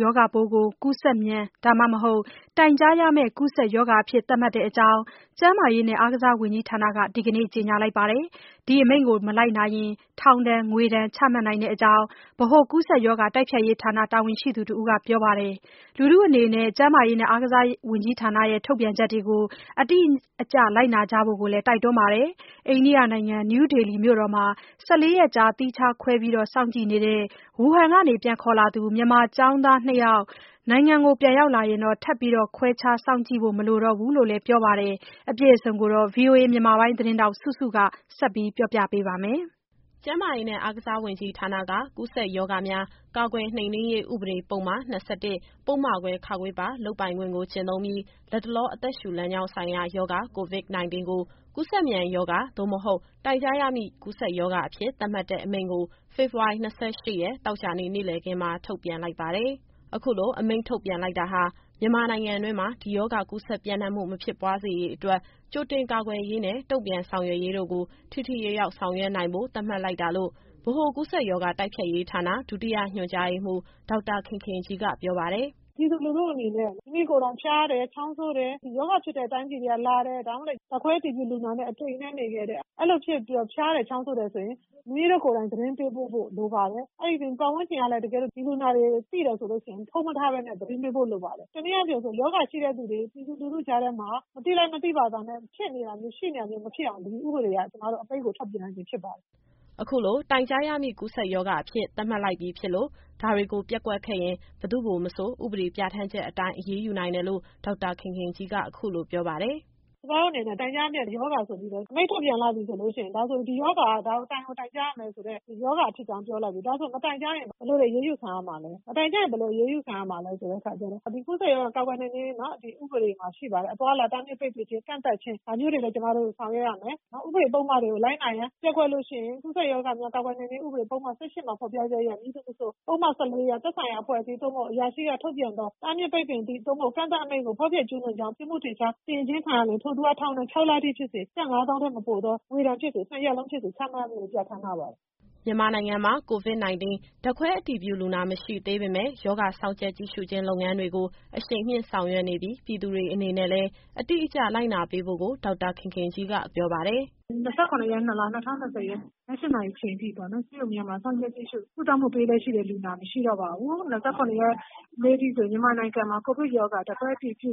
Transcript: ရောဂါပိုးကို ကူးစက်မြန် ဒါမှမဟုတ် တိုင်ကြားရမယ့် ကူးစက်ရောဂါအဖြစ် သတ်မှတ်တဲ့အကြောင်း ကျန်းမာရေးနဲ့ အားကစားဝန်ကြီးဌာနက ဒီကနေ့ ကြေညာပါတယ်။ ဒီအမိန့်ကို မလိုက်နာရင် ထောင်ဒဏ် ငွေဒဏ် ချမှတ်နိုင်တဲ့အကြောင်း ဗဟိုကူးစက်ရောဂါ တိုက်ဖျက်ရေးဌာန တာဝန်ရှိသူတဦးက ပြောပါတယ်။ လူထုအနေနဲ့ ကျန်းမာရေးနဲ့ အားကစား ဝန်ကြီးဌာနရဲ့ ထုတ်ပြန်ချက်တွေကို အတိအကျလိုက်နာဖို့လည်း တိုက်တွန်းပါတယ်။ အိန္ဒိယနိုင်ငံ၊ နယူးဒေလီမြို့တော်မှာ ၁၄ ရက်ကြာ သီးခြားခွဲ ပြီး စောင့်ကြည့်နေတဲ့ ဝူဟန်က ပြန်ခေါ်လာသူ မြန်မာကျောင်းသား နှစ်ယောက် နိုင်ငံပြန်ရောက်လာရင်တော့ ထပ်ပြီး ခွဲခြား စောင့်ကြည့်ဖို့ မလိုတော့ဘူးလို့လည်း ပြောပါတယ်။ ဒီအကြောင်း ဗွီအိုအေသတင်းထောက် မစုစုက ဆက်ပြောပြပါမယ်။ ကျန်းမာရေးနဲ့ အားကစားဝန်ကြီးဌာနက ကူးစက်ရောဂါများ ကာကွယ်နှိမ်နှင်းရေး ဥပဒေပုဒ်မ ၂၁ ပုဒ်မခွဲ (ခ) ပါ လုပ်ပိုင်ခွင့်ကို ကျင့်သုံးပြီး လတ်တလောအသက်ရှူ လမ်းကြောင်းဆိုင်ရာရောဂါ COVID- 19 ကို ကူးစက်မြန်ရောဂါ သို့မဟုတ် တိုင်ကြားရမည့်ကူးစက်ရောဂါအဖြစ် သတ်မှတ်တဲ့အမိန့်ကို ဖေဖော်ဝါရီ ၂၈ရက် သောကြာနေ့ နေ့လည်ခင်းမှာ ထုတ်ပြန်လိုက်ပါတယ်။ အခုလို အမိန့်ထုတ်ပြန်လိုက်တာဟာ မြန်မာနိုင်ငံတွင်းမှာ ဒီရောဂါကူးစက်ပျံ့နှံ့မှု မဖြစ်ပွားစေရေးအတွက် ကြိုတင်ကာကွယ်ရေးနဲ့ တုံ့ပြန်ဆောင်ရွက်ရေးတို့ကို ထိထိရောက်ရောက် ဆောင်ရွက်နိုင်ဖို့ သတ်မှတ်လိုက်တာလို့ ဗဟိုကူးစက်ရောဂါ တိုက်ဖျက်ရေးဌာန ဒုတိယညွှန်ကြားရေးမှူး ဒေါက်တာခင်ခင်ကြီးက ပြောပါတယ်။ “ပြည်သူလူထုအနေနဲ့ မိမိကိုယ်တိုင် ဖျားတယ်၊ ချောင်းဆိုးတယ်၊ ဒီရောဂါဖြစ်တဲ့ တိုင်းပြည်တွေကနေ လာတယ်။ ဒါမှမဟုတ်ရင်လည်း ဓာတ်ခွဲအတည်ပြုလူနာနဲ့ တအိမ်တည်းနေခဲ့တယ်။ အဲလိုတွေဖြစ်ပြီးတော့ ဖျားတယ်၊ ချောင်းဆိုးတယ်ဆိုရင် မိမိတို့ကိုယ်တိုင် သတင်းပေးပို့ဖို့ လိုပါတယ်။ အဲဒီအပြင် ပတ်ဝန်းကျင်ကလည်း တကယ်လို့ ဒီလူနာတွေကို သိတယ်ဆိုရင် ဖုံးမထားဘဲနဲ့ သတင်းပေးပို့လိုပါတယ်။ တနည်းအားဖြင့်ပြောရင် ရောဂါရှိတဲ့သူတွေ ပြည်သူလူထုကြားထဲမှာ မသိလိုက် မသိဖာသာနဲ့ ဖြစ်နေတာမျိုး ရှိနေတာမျိုး မဖြစ်အောင်လို့ ဒီဥပဒေကို အမိန့်ထုတ်ပြန်ရခြင်း ဖြစ်ပါတယ်။” အခုလို တိုင်ကြားရမည့် ကူးစက်ရောဂါအဖြစ် သတ်မှတ်လိုက်ပြီဖြစ်လို့ ဒါတွေကိုပျက်ကွက်ခဲ့ရင် ဘယ်သူ့ကိုမဆို ဥပဒေပြဌာန်းချက်အတိုင်း အရေးယူနိုင်တယ်လို့ ဒေါက်တာခင်ခင်ကြီးက အခုလိုပြောပါတယ်။ “ကျမတို့အနေနဲ့ တိုင်ကြားရမယ့်ရောဂါဆိုပြီးတော့ အမိန့်ထုတ်ပြန်လိုက်ပြီဆိုရင် ဒီရောဂါဟာ တိုင်ကိုတိုင်ကြားရမယ်ဆိုတဲ့ ရောဂါဖြစ်ကြောင်း ပြောလိုက်ပြီ။ မတိုင်ကြားရင် ဘယ်လိုအရေးယူခံရမလဲဆိုရင် ဒီကူးစက်ရောဂါ ကာကွယ်နှိမ်နှင်းရေး ဥပဒေမှာ ရှိပါတယ်။ အသွားအလာ တားမြစ်ပိတ်ပင်ခြင်း၊ ကန့်သတ်ခြင်း ဒါမျိုးတွေလည်း ကျမတို့ဆောင်ရွက်ရမယ်။ နောက် ဥပဒေပုဒ်မတွေကို လိုက်နာရန်ပျက်ကွက်လို့ရှိရင် ကူးစက်ရောဂါများ ကာကွယ်နှိမ်နှင်းရေး ပုဒ်မ ၁၈ မှာ ဖော်ပြချက်အရ မည်သူမဆို ပုဒ်မ ၁၄အရ သက်ဆိုင်ရာအဖွဲ့အစည်း သို့မဟုတ် အရာရှိက ထုတ်ပြန်သော တားမြစ်ပိတ်ပင်သည့် သို့မဟုတ် ကန့်သတ်အမိန့်ကို ဖောက်ဖျက်ကျူးလွန်ကြောင်း ပြစ်မှုထင်ရှားစီရင်ခြင်း ခံရလျှင် ထိုသူအား ထောင်ဒဏ် ခြောက်လအထိဖြစ်စေ၊ ကျပ်ငါးသောင်းထက်မပိုသော ငွေဒဏ်ဖြစ်စေ၊ နှစ်ရပ်လုံးဖြစ်စေ ချမှတ်ဖို့ ပြဌာန်းထားပါတယ်။” မြန်မာနိုင်ငံမှာ COVID- 19 ဓာတ်ခွဲအတည်ပြုလူနာ မရှိသေးပေမယ့် ရောဂါစောင့်ကြပ် ကြည့်ရှုခြင်းလုပ်ငန်းတွေကို အရှိန်မြှင့်ဆောင်ရွက်နေပြီး ပြည်သူတွေအနေနဲ့လည်း အတိအကျလိုက်နာပေးဖို့ကို ဒေါက်တာခင်ခင်ကြီးက ပြောပါတယ်။ “၂၇ရက်၊ ၂လ၊ ၂၀၂၀၊ ည ၈နာရီအချိန်ထိပေါ့နော်။ ဆေးရုံတွေမှာ စောင့်ကြပ်ကြည့်ရှု ကုသမှုပေးလျက်ရှိတဲ့ လူနာမရှိတော့ပါဘူး။ ၂၇ရက်နေ့အထိဆိုရင် မြန်မာနိုင်ငံမှာ COVID- 19 ရောဂါ ဓာတ်ခွဲအတည်ပြု